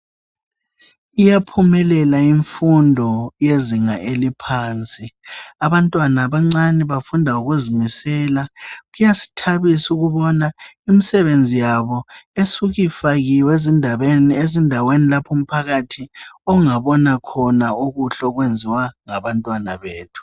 Iyaphumelela imfundo yezinga eliphansi. Abantwana abancani bafunda ngokuzimisela. Kuyasithabisa ukubona imsebenzi yabo esukifakiwe ezindaweni laphu mphakathi ongabona khona okuhlokwenziwa ngabantwana bethu.